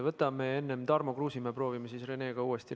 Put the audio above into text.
Võtame enne Tarmo Kruusimäe, proovime siis Renega uuesti.